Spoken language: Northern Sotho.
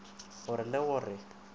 go re le go re